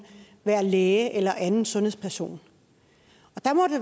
være læge eller anden sundhedsperson